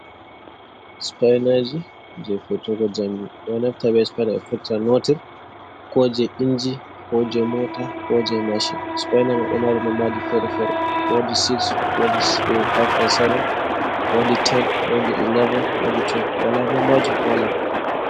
Spainaji jei firtugo jamɗe. Ɓe naftira be spaina ɓe firtira noti, ko jei inji, ko jei mota, ko jei mashin. Spaina mai woodi nombaaji fere-fere. Woodi 6, woodi 5 and 7, woodi 10, woodi 11, woodi 12, walaa nombaji ko wola.